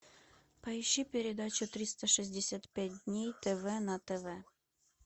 поищи передачу триста шестьдесят пять дней тв на тв